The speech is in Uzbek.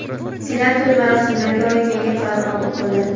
Senat to‘y-marosimlarga oid yangi qaror qabul qildi.